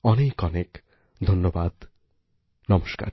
অনেক অনেক ধন্যবাদ নমস্কার